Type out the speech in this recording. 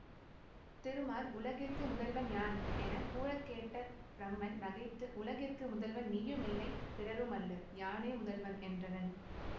திருமால் உலகிற்கு முதல்வன் யான் என கூறக்கேட்ட பிரமன் நகைத்து உலகிற்கு முதல்வன் நீயுமில்லை பிறரும் அல்லர் யானே முதல்வன் என்றனன்